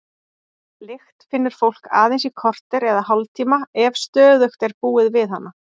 Lykt finnur fólk aðeins í korter eða hálftíma ef stöðugt er búið við hana.